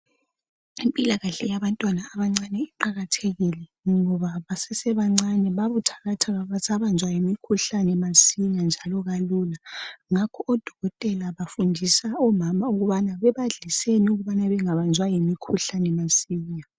Impilakahle yabantwana abancane iqakathekile ngoba basesebancane babuthakathaka basabanjwa yimikhuhlane masinya njalo kalula ngakho odokotela bafundisa omama ukubana bebadliseni ukubana bengabanjwa yimikhuhlane masinya.